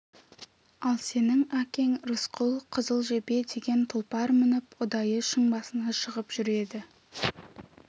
ал сенің әкең рысқұл қызыл жебе деген тұлпар мініп ұдайы шың басына шығып жүреді